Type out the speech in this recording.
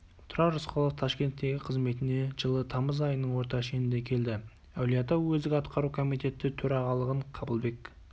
тұрар рысқұлов ташкенттегі қызметіне жылы тамыз айының орта шенінде келді әулиеата уездік атқару комитеті төрағалығын қабылбек